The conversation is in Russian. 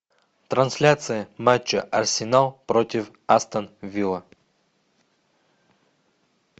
трансляция матча арсенал против астон вилла